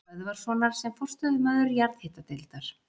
Böðvarssonar sem forstöðumaður jarðhitadeildar